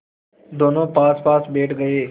दोेनों पासपास बैठ गए